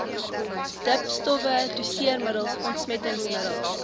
dipstowwe doseermiddels ontsmettingsmiddels